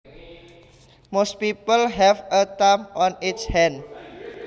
Most people have a thumb on each hand